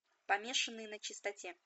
помешанные на чистоте